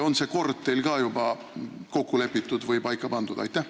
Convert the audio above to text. Kas see kord on teil ka juba kokku lepitud või paika pandud?